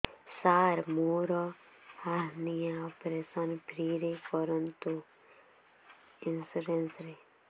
ସାର ମୋର hernia operation free ରେ କରନ୍ତୁ ଇନ୍ସୁରେନ୍ସ ରେ